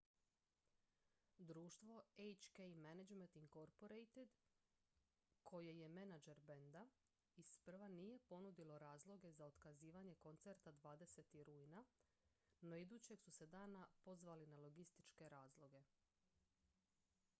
društvo hk management inc koje je menadžer benda isprva nije ponudilo razloge za otkazivanje koncerta 20. rujna no idućeg su se dana pozvali na logističke razloge